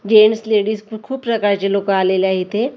Gents ladies खूप प्रकारचे लोक आलेले आहे इथे .